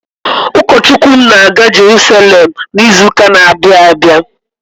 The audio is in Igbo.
Ukọ Chukwu m ga-aga Jeruselem n'izụka n'abia abịa.